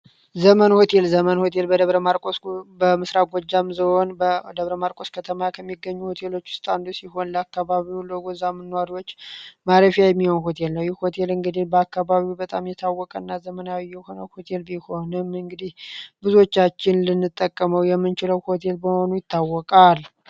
ዘመን ሆቴል ዘመን ሆቴል በደበረ ማርስ በምሥራጎጃም ዞን በደብረ ማርቆስ ከተማ ከሚገኙ ሆቴሎች ውስጥ አንዱ ሲሆን ለአካባቢው ለጎዛምን ኗሪዎች ማረፊያ የሚሆን ሆቴል ይህ ሆቴል እንግዲል በአካባቢው በጣም የታወቀ እና ዘመናዊ የሆነው ሆቴል ቢሆንም እንግዲህ ብዙቻችን ልንጠቀመው የምንችለው ሆቴል በመሆኑ ይታወቃል።